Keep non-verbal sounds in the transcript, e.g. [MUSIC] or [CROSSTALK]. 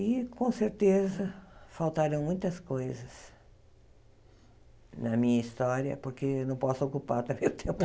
E, com certeza, faltaram muitas coisas na minha história, porque não posso ocupar também o tempo. [LAUGHS]